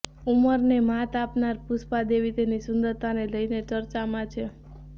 ઉંમરને માત આપનાર પુષ્પા દેવી તેની સુંદરતાને લઈને ચર્ચામાં છે